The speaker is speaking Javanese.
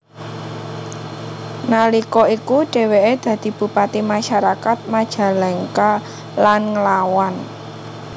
Nalika iku dheweke dadi bupati masyarakat Majalengka lan nglawan